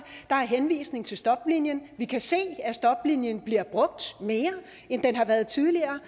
der er henvisning til stoplinien og vi kan se at stoplinien bliver brugt mere end den har været tidligere